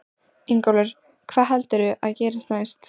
Ingólfur: Hvað heldurðu að gerist næst?